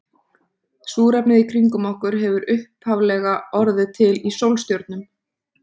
Súrefnið í kringum okkur hefur upphaflega orðið til í sólstjörnum.